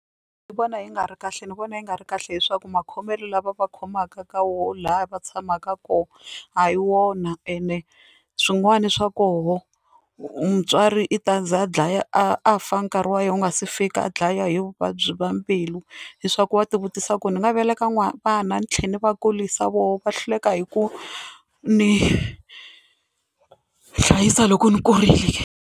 Ni vona yi nga ri kahle ni vona yi nga ri kahle leswaku makhomelo lava va khomaka ka wo laha va tshamaka kona a hi wona, ene swin'wana swa koho mutswari i ta za a dlaya a fa nkarhi wa yena wu nga si fika a dlaya hi vuvabyi bya mbilu, leswaku wa ti vutisa ku ni nga veleka n'wana ni tlhela ni va kurisa voho va hlupheka hi ku ni hlayisa loko ndzi kurile.